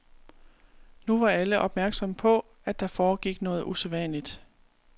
Nu var alle opmærksomme på, at der foregik noget usædvanligt.